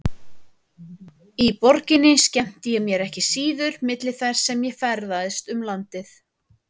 Í borginni skemmti ég mér ekki síður milli þess sem ég ferðaðist um landið.